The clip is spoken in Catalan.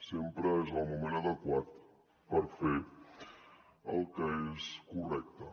sempre és el moment adequat per fer el que és correcte